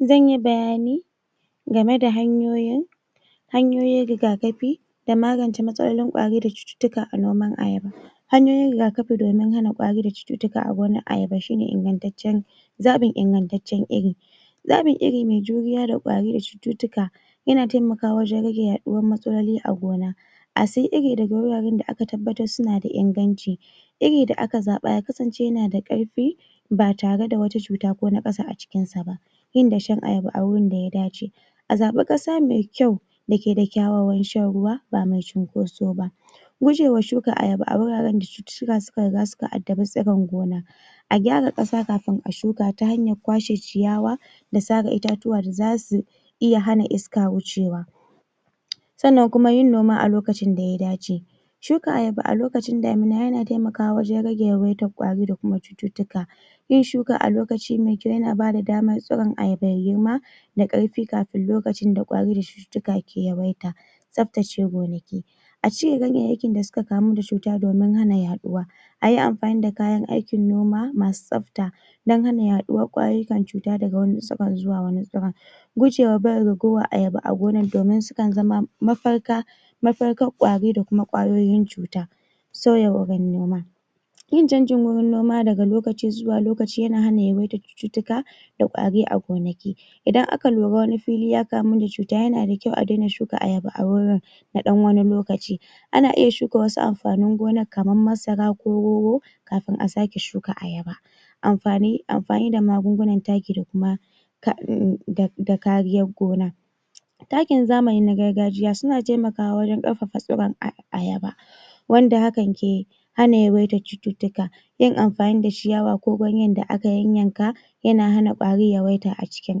Zan yi bayani game da hanyoyin hanyoyin rigakafi da magance matsalolin kwarida cututtuka a noman Ayaba hanyoyin rigakafi domin hana kwari da cututtuka a gonar Ayaba shine ingantaccen zaɓin ingantaccen Iri zaɓin Iri mai juriya da kwari da cututtuka yana taimakawa wajan raje yaɗuwar matsaloli a gona a siyi Iri a wuraren da aka tabbatar suna da inganci Iri da aka zaɓa ya kasance yana da ƙarfi ba tare da wata juta ba ko naƙasu a cikin sa ba yin dashen Ayaba a wurin daya dace a zabi ƙasa mai kyau dake da kyawawan shan ruwa ba mai cunkoso ba gujewa shuka Ayaba a wuraren da cututtuka suka riga suka addabi tsiron gona a gyara ƙasa kafin a shuka ta hanyar kwashe ciyawa da sare itatuwa da zasu iya hana iska wucewa sannan kuma yin noma a lokacin da ya dace shuka Ayaba a lokacin damina yana taimakawa wajan rage yawaitar kwari da cututtuka yin shuka a lokaci mai kyau yana bada damar tsiron Ayaba yayi girma da ƙarfi kafin lokacin da kwari da cututtuka ke yawaita tsaftace gonaki a cire ganyayyakin da suka kamu da cuta domin hana yaɗuwa ayi amfani da kayan aikin noma masu tsafta dan hana yaɗuwar kwayoyyukan cuta daga wani tsiron zuwa wani tsiron gujewa barin ragowar Ayaba a gonar domin sukan zama mafaka mafarka kwari da kuma kwayoyin cuta sauya wurin noma yin canjin wajan noma daga lokaci zuwa lokaci yana hana yawaitar cututtuka da kwari a gonaki idan aka lura wani fili ya kamu da cuta yana da kyau a dai na shuka Ayaba a wurin na ɗan wani lokaci ana iya shuka wasu amfanin gonar kamar masara ko rogo kafin a sake shuka Ayaba amfani amfani da magunguna taki da kuma ka in in da kariyar gona takin zamani na gargajiya suna taimakawa wajan ƙarfafa tsiron Ai Ayaba wanda hakan ke hana yawaitar cututtuka yin amfani da ciyawa ko ganyan da aka yayyanka yana hana kwari yawaita a cikin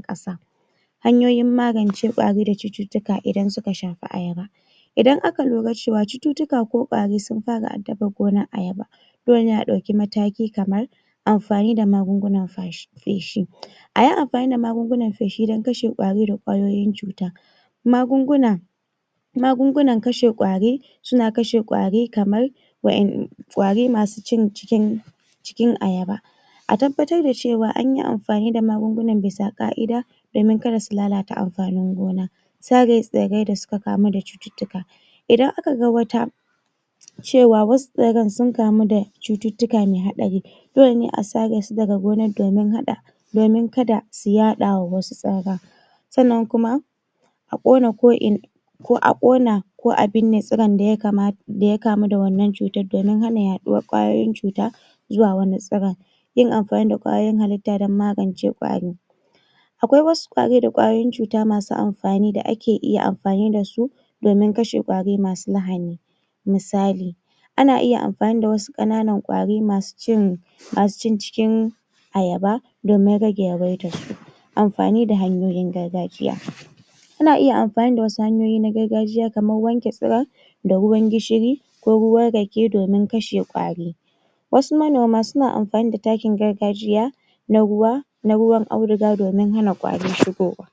ƙasa Hanyoyin magance kwari da cututtuka idan suka shafi Ayaba idan aka nura cewa cututtuka ko kwari sun fara addabar gonar Ayaba dole ne a ɗauki mataki kamar amfani da magunguna fashi feshi ayi amfani da magunguna feshi dan kashe kwari da kwayoyin cuta magunguna magungunan kashe kwari suna kashe kwari kamar wa'yan kwari masu cin cikin cikin Ayaba a tabbatar da cewa anyi amfani da magungunan bisa ƙa'ida domin kada su lalata amfanin gona sare tsirrai da suka kamu da cututtuka idan aka ga wata cewa wasu tsirran sun kamu da cututtuka mai hatsari dole ne a sare su daga gonar domin haɗa domin kada su yaɗawa wasu tsirran sannan kuma a ƙona ko in ko a ƙona ko a binne tsiran da yakama daya kamu da wannan cutar domin hana yaɗuwar kwayoyin cuta zuwa wani tsiron yin amfani da kwayoyin halitta dan magance kwari akwai wasu kwari da kwayoyin cuta masu amfani da ake iya amfani dasu domin kashe kwari masu lahani misali ana iya amfani da wasu ƙananan kwari masu cin masu cin cikin Ayaba domin rage yawaitar su amfani da hanyoyin gargajiya ana iya amfani da wasu hanyoyi na gargajiya kamar wanke tsiron da ruwan Gishiri ko ruwan Rake domin kashe kwari wasu manoma suna amfani da takin gargajiya na ruwa na ruwan auduga domin hana kwari shigowa